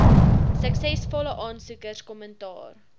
suksesvolle aansoekers kommentaar